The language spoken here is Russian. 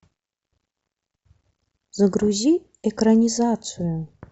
загрузи экранизацию